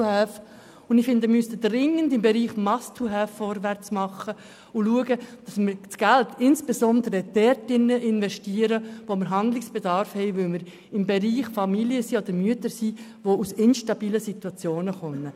Doch wir sollten dringend im Bereich Must-have vorwärtsmachen und das Geld insbesondere dort investieren, wo Handlungsbedarf besteht, also bei Familien und Müttern, die sich in instabilen Situationen befinden.